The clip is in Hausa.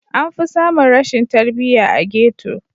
Anfi samun rashin tarbiya a ghetto.